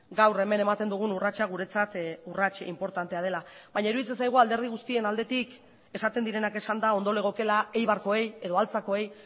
gaur hemen ematen dugun urratsa guretzat urrats inportantea dela baina iruditzen zaigu alderdi guztien aldetik esaten direnak esanda ondo legokeela eibarkoei edo altzakoei